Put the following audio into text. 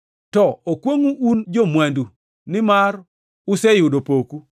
“To okwongʼu un jo-mwandu, nimar useyudo poku.